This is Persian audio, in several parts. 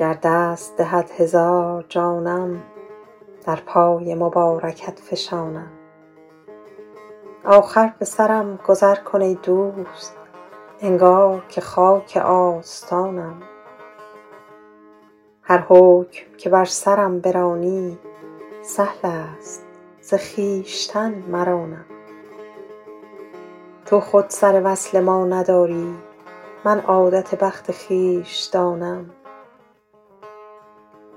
گر دست دهد هزار جانم در پای مبارکت فشانم آخر به سرم گذر کن ای دوست انگار که خاک آستانم هر حکم که بر سرم برانی سهل است ز خویشتن مرانم تو خود سر وصل ما نداری من عادت بخت خویش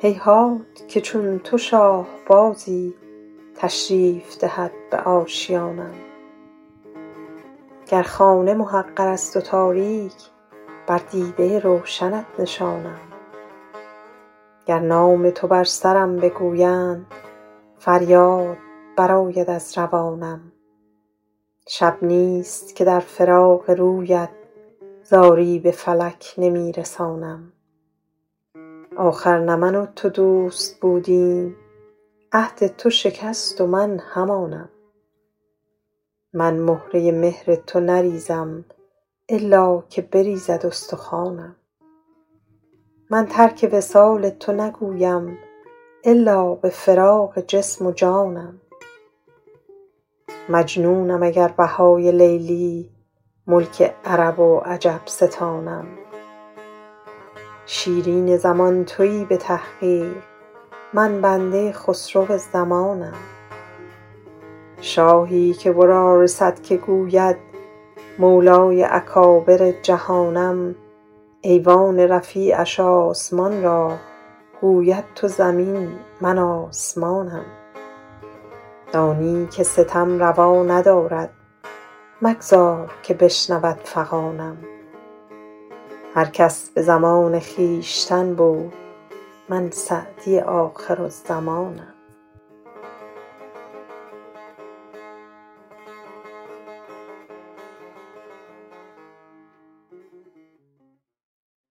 دانم هیهات که چون تو شاه بازی تشریف دهد به آشیانم گر خانه محقر است و تاریک بر دیده روشنت نشانم گر نام تو بر سرم بگویند فریاد برآید از روانم شب نیست که در فراق رویت زاری به فلک نمی رسانم آخر نه من و تو دوست بودیم عهد تو شکست و من همانم من مهره مهر تو نریزم الا که بریزد استخوانم من ترک وصال تو نگویم الا به فراق جسم و جانم مجنونم اگر بهای لیلی ملک عرب و عجم ستانم شیرین زمان تویی به تحقیق من بنده خسرو زمانم شاهی که ورا رسد که گوید مولای اکابر جهانم ایوان رفیعش آسمان را گوید تو زمین من آسمانم دانی که ستم روا ندارد مگذار که بشنود فغانم هر کس به زمان خویشتن بود من سعدی آخرالزمانم